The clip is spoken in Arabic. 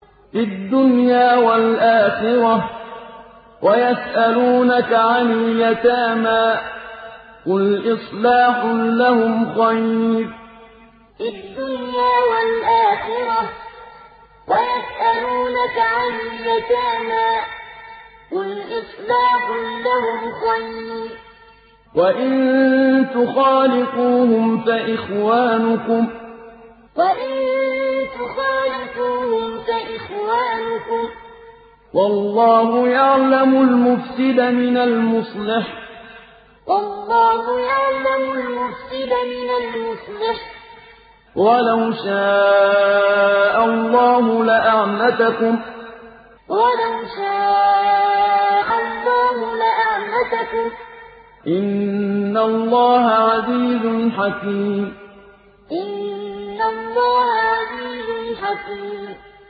فِي الدُّنْيَا وَالْآخِرَةِ ۗ وَيَسْأَلُونَكَ عَنِ الْيَتَامَىٰ ۖ قُلْ إِصْلَاحٌ لَّهُمْ خَيْرٌ ۖ وَإِن تُخَالِطُوهُمْ فَإِخْوَانُكُمْ ۚ وَاللَّهُ يَعْلَمُ الْمُفْسِدَ مِنَ الْمُصْلِحِ ۚ وَلَوْ شَاءَ اللَّهُ لَأَعْنَتَكُمْ ۚ إِنَّ اللَّهَ عَزِيزٌ حَكِيمٌ فِي الدُّنْيَا وَالْآخِرَةِ ۗ وَيَسْأَلُونَكَ عَنِ الْيَتَامَىٰ ۖ قُلْ إِصْلَاحٌ لَّهُمْ خَيْرٌ ۖ وَإِن تُخَالِطُوهُمْ فَإِخْوَانُكُمْ ۚ وَاللَّهُ يَعْلَمُ الْمُفْسِدَ مِنَ الْمُصْلِحِ ۚ وَلَوْ شَاءَ اللَّهُ لَأَعْنَتَكُمْ ۚ إِنَّ اللَّهَ عَزِيزٌ حَكِيمٌ